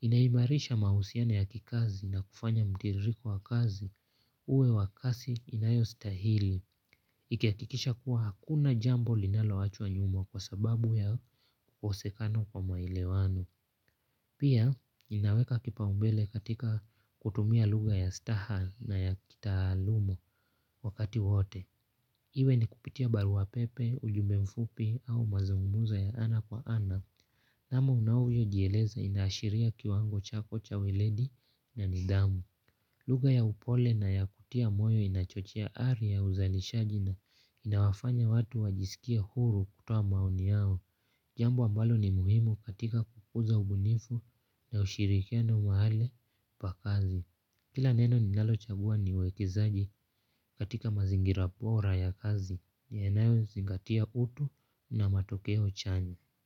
inaimarisha mahusiano ya kikazi na kufanya mtiririko wa kazi uwe wa kasi inayostahili. Ikihakikisha kuwa hakuna jambo linaloachwa nyuma kwa sababu ya ukosekano kwa maelewano. Pia, inaweka kipaumbele katika kutumia lugha ya staha na ya kitaaluma wakati wote. Iwe ni kupitia barua pepe, ujumbe mfupi au mazungumuzo ya ana kwa ana. Hamu unayojieleza inaashiria kiwango chako cha weledi na nidhamu. Lugha ya upole na ya kutia moyo inachochea ari ya uzalishaji na inawafanya watu wajisikie huru kutoa maoni yao. Jambo ambalo ni muhimu katika kukuza ubunifu na ushirikiano mahali pa kazi kila neno ninalochagua ni uwekezaji katika mazingira bora ya kazi yanayozingatia utu na matokeo chanya.